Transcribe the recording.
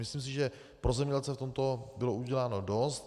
Myslím si, že pro zemědělce v tomto bylo uděláno dost.